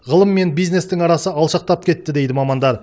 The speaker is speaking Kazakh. ғылым мен бизнестің арасы алшақтап кетті дейді мамандар